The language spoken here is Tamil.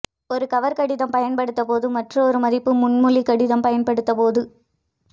ஒரு கவர் கடிதம் பயன்படுத்த போது மற்றும் ஒரு மதிப்பு முன்மொழிவு கடிதம் பயன்படுத்த போது